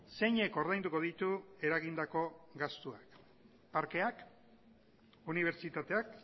zeinek ordainduko ditu eragindako gastuak parkeak unibertsitateak